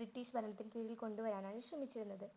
British ഭരണത്തിൽ കിഴിൽ കൊണ്ടുവരാനാണ് ശ്രമിച്ചിരുന്നത്.